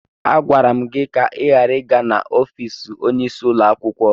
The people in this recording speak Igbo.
Agwara m gị ka ị ghara ịga n'ọfiisi onyeisi ụlọ akwụkwọ!